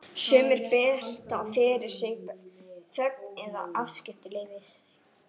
Sumir beita fyrir sig þögn eða afskiptaleysi.